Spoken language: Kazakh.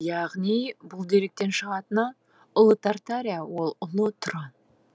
яғни бұл деректен шығатыны ұлы тартария ол ұлы тұран